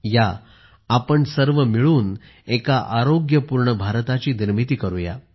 या आपण सर्व मिळून एक आरोग्यपूर्ण भारत निर्माण करू या